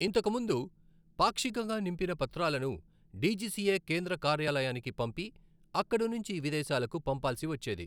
ఇంతకు ముందు పాక్షికంగా నింపిన పత్రాలను డీజీసీఏ కేంద్ర కార్యాలయానికి పంపి అక్కడి నుంచి విదేశాలకు పంపాల్సి వచ్చేది.